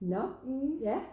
Nåh ja